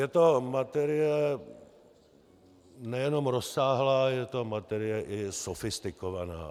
Je to materie nejenom rozsáhlá, je to materie i sofistikovaná.